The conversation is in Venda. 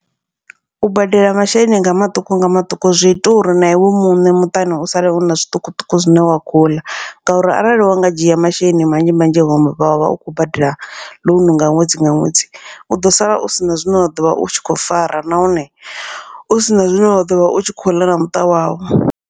U badela masheleni nga maṱuku nga maṱuku zwi ita uri na iwe muṋe muṱani u sale huna zwiṱukuṱuku zwine wa kho uḽa, ngauri arali wa nga dzhia masheleni manzhi manzhi wa vha wa vha u khou badela ḽounu nga ṅwedzi nga ṅwedzi, u ḓo sala u sina zwine wa ḓovha u tshi kho fara nahone u sina zwine wa ḓovha u tshi khou ḽa na muṱa wau.